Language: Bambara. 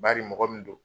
Bari mɔgɔ min don